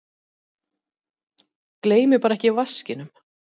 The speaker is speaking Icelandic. Gleymið bara ekki vaskinum!